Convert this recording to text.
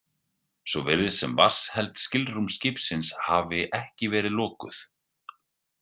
Svo virðist sem vatnsheld skilrúm skipsins hafi ekki verið lokuð.